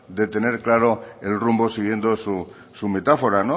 de tener claro el rumbo siguiendo su metáfora